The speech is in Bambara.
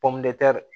Pɔmtɛri